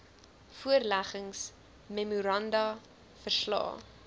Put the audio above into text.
voorleggings memoranda verslae